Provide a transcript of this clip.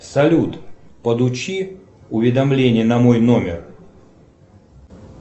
салют получи уведомление на мой номер